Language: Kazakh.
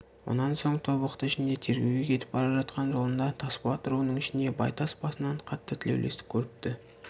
онан соң тобықты ішінде тергеуге кетіп бара жатқан жолында тасболат руының ішінде байтас басынан қатты тілеулестік көріпті